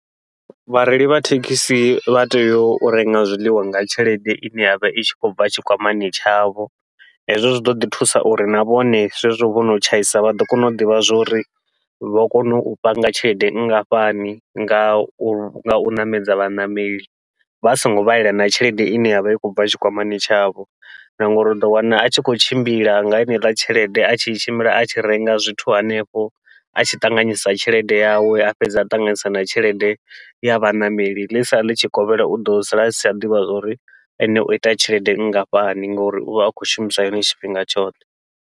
Vhareili vha thekhisi vha tea u renga zwiḽiwa nga tshelede ine yavha i tshi khou bva tshikwamani tshavho, hezwo zwi ḓoḓi thusa uri na vhone zwezwo vho no tshaisa vha ḓo kona u ḓivha zwa uri vha kone u panga tshelede nngafhani, ngau ngau ṋamedza vhaṋameli vha songo vhalela na tshelede ine yavha i khou bva tshikwamani tshavho. Na ngauri uḓo wana a tshi khou tshimbila nga yeneiḽa tshelede a tshi tshimbila a tshi renga zwithu hanefho, a tshi ṱanganyisa tshelede yawe a fhedza a ṱanganisa na tshelede ya vhaṋameli, ḽitshi sala ḽitshikovhela uḓo sala asi tsha ḓivha uri ene oita tshelede nngafhani ngori uvha a khou shumisa yone tshifhinga tshoṱhe.